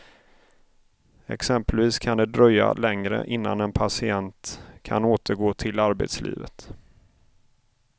Exempelvis kan det dröja längre innan en patient kan återgå till arbetslivet.